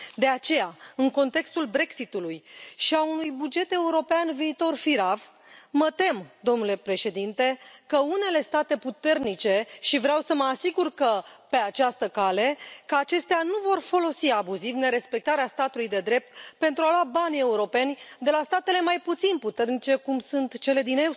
De aceea, în contextul Brexitului și a unui buget european viitor firav, mă tem, domnule președinte, că unele state puternice și vreau să mă asigur pe această cale că acestea nu vor folosi abuziv nerespectarea statului de drept pentru a lua banii europeni de la statele mai puțin puternice, cum sunt cele din